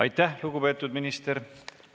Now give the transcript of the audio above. Aitäh, lugupeetud minister!